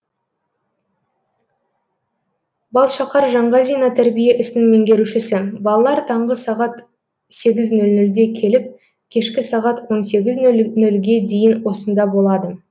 балшақар жаңғазина тәрбие ісінің меңгерушісі балалар таңғы сағат сегіз нөл нөлде келіп кешкі сағат он сегіз нөл нөлге дейін осында болады